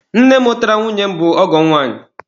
Nne mụtara nwunye m bụ ọgọ m nwaanyị.